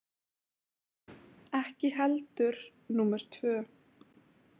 Ekki heldur númer tvö